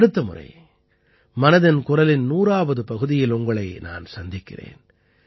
அடுத்த முறை மனதின் குரலின் 100ஆவது பகுதியில் உங்களை நான் சந்திக்கிறேன்